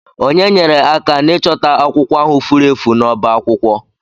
Ònye nyere aka n'ịchọta akwụkwọ ahụ furu efu n'ọbá akwụkwọ?